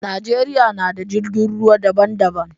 Najeriya na da jirgin ruwa da ban da ban.